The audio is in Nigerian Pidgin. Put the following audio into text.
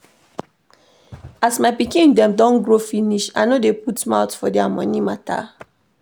As my pikin dem don grow finish, I no dey put mouth for their moni mata.